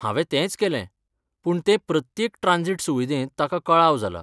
हांवें तेंच केलें, पूण ते प्रत्येक ट्रांजिट सुविदेंत ताका कळाव जाला.